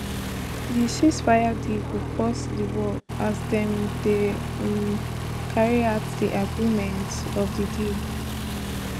di ceasefire deal go pause di war as dem dey um carry out di agreements of di deal